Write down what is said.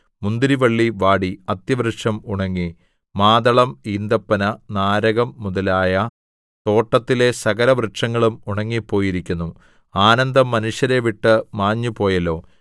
മുന്തിരിവള്ളി വാടി അത്തിവൃക്ഷം ഉണങ്ങി മാതളം ഈന്തപ്പന നാരകം മുതലായ തോട്ടത്തിലെ സകലവൃക്ഷങ്ങളും ഉണങ്ങിപ്പോയിരിക്കുന്നു ആനന്ദം മനുഷ്യരെ വിട്ട് മാഞ്ഞുപോയല്ലോ